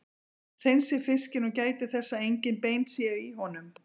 Hreinsið fiskinn og gætið þess að engin bein séu í honum.